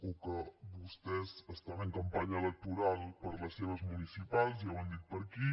o que vostès estan en campanya electoral per les seves municipals ja ho han dit per aquí